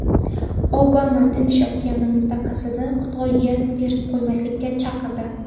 Obama Tinch okeani mintaqasini Xitoyga berib qo‘ymaslikka chaqirdi.